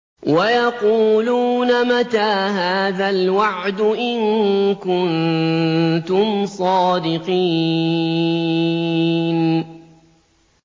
وَيَقُولُونَ مَتَىٰ هَٰذَا الْوَعْدُ إِن كُنتُمْ صَادِقِينَ